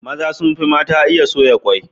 Maza sun fi mata iya soya kwai.